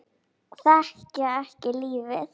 Þekkja ekki lífið.